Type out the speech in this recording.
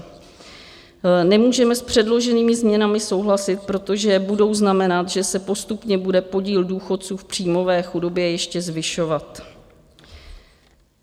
Nemůžeme s předloženými změnami souhlasit, protože budou znamenat, že se postupně bude podíl důchodců v příjmové chudobě ještě zvyšovat.